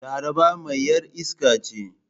Laraba mai yar iska ce.